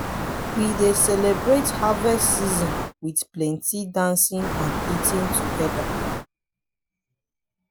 we dey celebrate harvest season with plenty dancing and eating together.